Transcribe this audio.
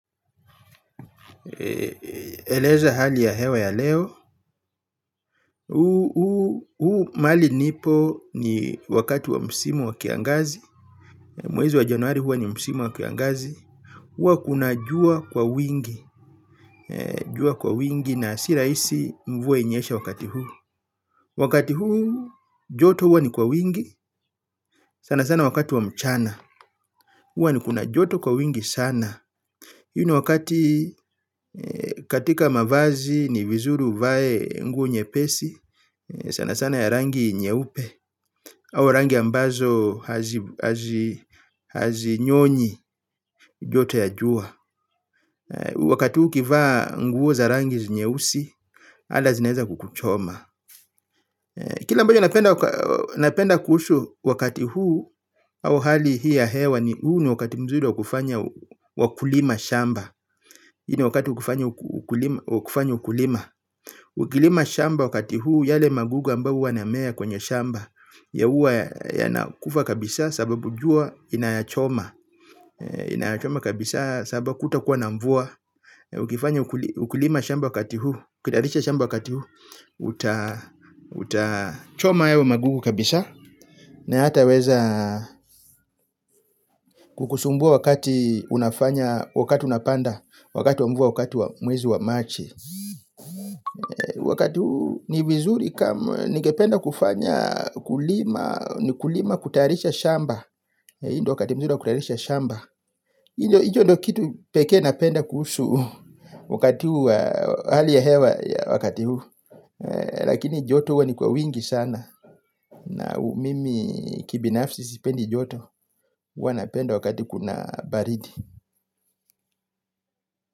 Eleza hali ya hewa ya leo. Huu mali nipo ni wakati wa msimu wa kiangazi. Mwezi wa januari hua ni msimu wa kiangazi. Huwa kuna jua kwa wingi. Jua kwa wingi na siraisi mvua inyeshe wakati huu. Wakati huu joto hua ni kwa wingi. Sana sana wakati wa mchana. Huu ni kuna joto kwa wingi sana. Hii ni wakati katika mavazi ni vizuri uvae ngu nye pesi. Sana sana ya rangi nyeupe au rangi ambazo hazinyonyi joto ya jua. Wakati huu ukivaa nguo za rangi nyeusi hata zinaeza kukuchoma. Kila ambacho napenda kuhusu wakati huu au hali hii ya hewa ni huu ni wakati mzuri wa kufanya wa kulima shamba. Hii ni wakati wa kufanya ukulima. Ukilima shamba wakati huu yale magugu ambayo huwa yanamea kwenye shamba. Ya huwa yanakufa kabisa sababu jua inayachoma. Inayachoma kabisa sababu kutakuwa na mvua. Ukifanya ukulima shamba wakati huu ukitayarisha shamba wakati huu utachoma hayo magugu kabisa. Na hataweza kukusumbua wakati unafanya wakati unapanda. Wakati wa mvua wakati wa mwezi wa machi. Wakati huu ni vizuri kama ningependa kufanya kulima. Ni kulima kutayarisha shamba. Hii ndo wakati mzuri wa kutayarisha shamba. Hii ndo hicho ndo kitu peke napenda kuhusu wakati huwa hali ya hewa wakati huu. Lakini joto huwa ni kwa wingi sana. Na mimi kibinafsi sipendi joto huwa napenda wakati kuna baridi.